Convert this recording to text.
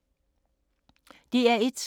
DR1